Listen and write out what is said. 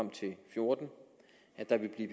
fjorten at der vil blive